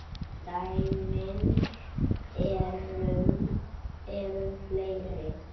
Dæmin eru fleiri.